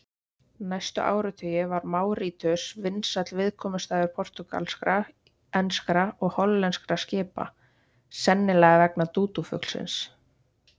Næstu áratugi var Máritíus vinsæll viðkomustaður portúgalskra, enskra og hollenskra skipa, sennilega vegna dúdúfuglsins.